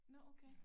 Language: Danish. Nå okay